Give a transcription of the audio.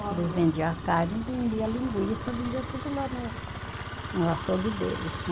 Eles vendia a carne, vendia a linguiça, vendia tudo lá no no açougue deles, né?